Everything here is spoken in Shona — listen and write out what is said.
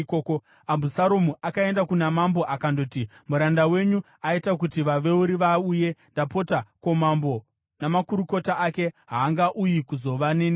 Abhusaromu akaenda kuna mambo akandoti, “Muranda wenyu aita kuti vaveuri vauye. Ndapota, ko, mambo namakurukota ake haangauyi kuzova neni here?”